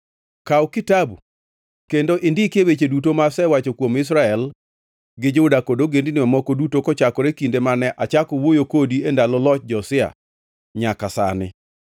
“Kaw kitabu kendo indikie weche duto ma asewacho kuom Israel gi Juda kod ogendini mamoko duto kochakore kinde mane achako wuoyo kodi e ndalo loch Josia nyaka sani.